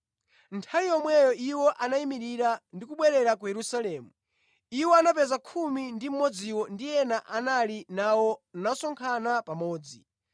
Nthawi yomweyo iwo anayimirira ndi kubwerera ku Yerusalemu. Iwo anapeza khumi ndi mmodziwo ndi ena anali nawo nasonkhana pamodzi